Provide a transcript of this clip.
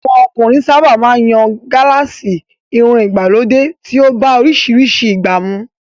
Àwọn ọkùnrin sábà máa ń yan gálààsì, irun ìgbàlódé tí ó bá oríṣiríṣi ìgbà mu